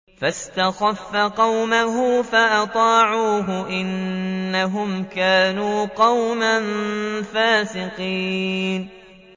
فَاسْتَخَفَّ قَوْمَهُ فَأَطَاعُوهُ ۚ إِنَّهُمْ كَانُوا قَوْمًا فَاسِقِينَ